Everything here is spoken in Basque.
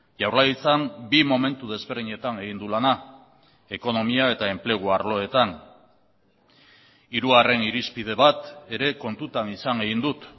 jaurlaritzan bi momentu desberdinetan egin du lana ekonomia eta enplegu arloetan hirugarren irizpide bat ere kontutan izan egin dut